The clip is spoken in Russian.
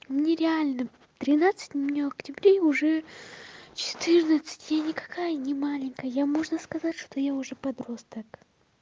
мне реально тринадцать мне в октябре уже четырнадцать я никакая не маленькая я можно сказать что я уже подросток